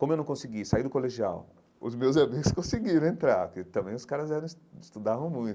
Como eu não consegui sair do colegial, os meus amigos conseguiram entrar, porque também os caras eram es estudavam muito.